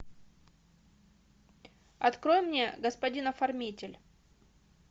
открой мне господин оформитель